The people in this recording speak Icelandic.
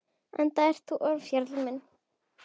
Enda ert þú ofjarl minn.